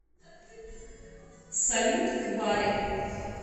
салют в баре